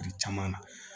caman na